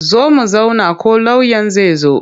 Zo mu zauna ko lauyan zai zo yau.